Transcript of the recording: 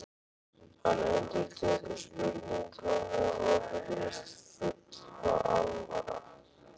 Hann endurtekur spurninguna og virðist full alvara.